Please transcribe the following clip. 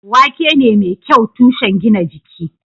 Wake ne mai kyau tushen gina jiki.